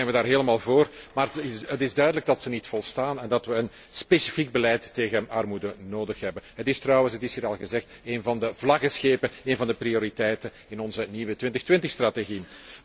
Uiteraard zijn we daar helemaal voor, maar het duidelijk dat dit niet volstaat en dat we een specifiek beleid tegen armoede nodig hebben. Het is trouwens het is hier al gezegd een van de vlaggenschepen, een van de prioriteiten van onze nieuwe 2020 strategie.